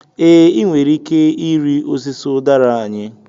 Ee, ị nwere ike ịrị osisi udara anyị.